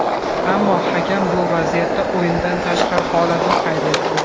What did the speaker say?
Ammo hakam bu vaziyatda o‘yindan tashqari holatni qayd etdi.